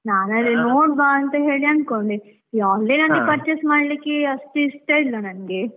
ನಾನ್ ನೋಡುವ ಅಂತ ಹೇಳಿ ಅನ್ಕೊಂಡೆ, ಈ online ಅಲ್ಲಿ purchase ಮಾಡ್ಲಿಕ್ಕೆ ಅಷ್ಟು ಇಷ್ಟ ಇಲ್ಲ ನನ್ಗೆ.